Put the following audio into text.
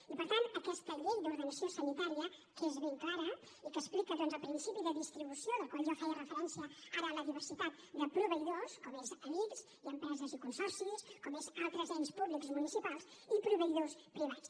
i per tant aquesta llei d’ordenació sanitària que és ben clara i que explica doncs el principi de distribució al qual jo feia referència ara amb la diversitat de proveïdors com són l’ics i empreses i consorcis com són altres ens públics municipals i proveïdors privats